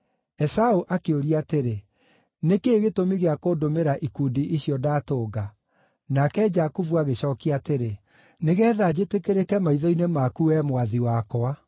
Esaũ akĩũria atĩrĩ, “Nĩ kĩĩ gĩtũmi gĩa kũndũmĩra ikundi icio ndatũnga?” Nake Jakubu agĩcookia atĩrĩ, “Nĩgeetha njĩtĩkĩrĩke maitho-inĩ maku, wee mwathi wakwa.”